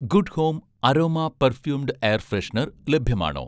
Good home' aroma perfumed air freshener ലഭ്യമാണോ?